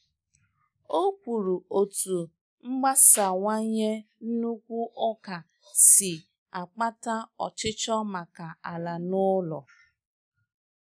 Ọ kwuru otú mgbasawanye nnukwu ụka si ụka si akpata ọchịchọ maka ala na ụlọ.